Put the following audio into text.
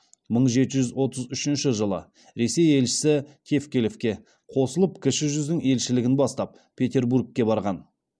мың жеті жүз отыз үшінші жылы ресей елшісі тевкелевке қосылып кіші жүздің елшілігін бастап петербургке барған